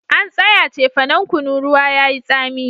An tsaya cefanan kunu ruwa yayi tsami